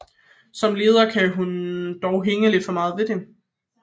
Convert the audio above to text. Som leder kan hun dog hænge lidt for meget ved det